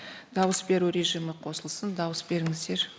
дауыс беру режимі қосылсын дауыс беріңіздер